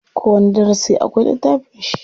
Kowani darasi akwai littafin shi.